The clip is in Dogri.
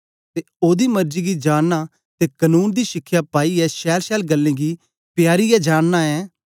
ते ओदी मरजी गी जानना ते कनून दी शिखया पाईयै छैलछैल गल्लें गी पयारीयें जानना ऐं